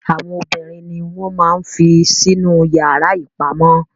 Àwọn obìnrin ni wọn máa n fí sí inú yara ipamọ.